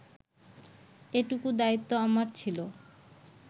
এটুকু দায়িত্ব আমার ছিল